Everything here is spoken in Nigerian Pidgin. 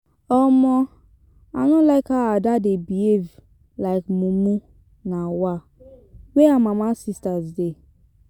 um I no like how Ada dey behave like mumu um where her mama sisters dey.